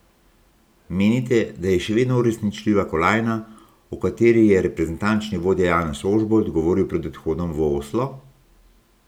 Menite, da je še vedno uresničljiva kolajna, o kateri je reprezentančni vodja Janez Ožbolt govoril pred odhodom v Oslo?